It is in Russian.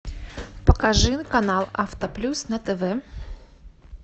покажи канал авто плюс на тв